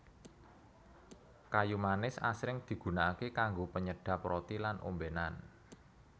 Kayu manis asring digunakaké kanggo penyedhep roti lan ombénan